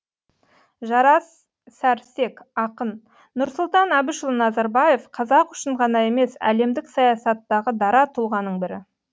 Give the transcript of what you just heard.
жарас сәрсек ақын нұрсұлтан әбішұлы назарбаев қазақ үшін ғана емес әлемдік саясаттағы дара тұлғаның бірі